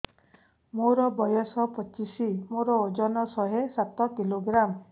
ମୋର ବୟସ ପଚିଶି ମୋର ଓଜନ ଶହେ ସାତ କିଲୋଗ୍ରାମ